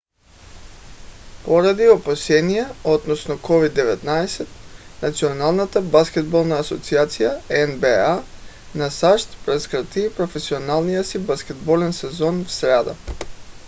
поради опасения относно covid-19 националната баскетболна асоциация нба на сащ прекрати професионалния си баскетболен сезон в сряда